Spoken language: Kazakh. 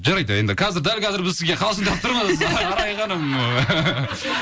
жарайды енді қазір дәл қазір біз сізге қалжындап тұрмыз арай ханым